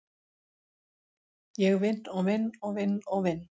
Ég vinn og vinn og vinn og vinn.